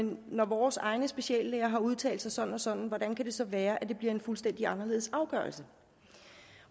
når vores egne speciallæger har udtalt sig sådan og sådan hvordan kan det så være at det bliver en fuldstændig anderledes afgørelse